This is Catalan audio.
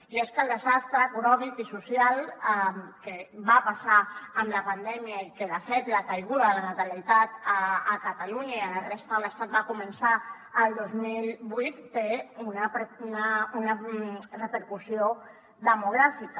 i és que el desastre econòmic i social que va passar amb la pandèmia i que de fet la caiguda de la natalitat a catalunya i a la resta de l’estat va començar el dos mil vuit té una repercussió demogràfica